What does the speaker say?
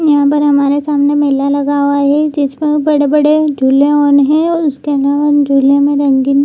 यहाँ पर हमारे सामने मेला लगाया है जिस पर बड़े-बड़े झूले ऑन है झूले में रंगीन --